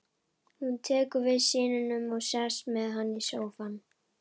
Hún tekur við syninum og sest með hann í sófann.